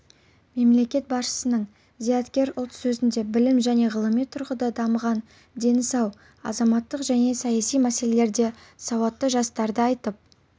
мемлекет басшының зияткер ұлт сөзінде білім және ғылыми тұрғыда дамыған дені сау азаматтық және саяси мәселелерде сауатты жастарды айтып